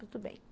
Tudo bem.